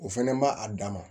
O fɛnɛ ma a dan ma